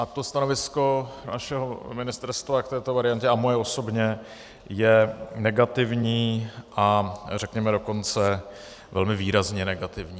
A to stanovisko našeho ministerstva k této variantě a moje osobně je negativní, a řekněme dokonce velmi výrazně negativní.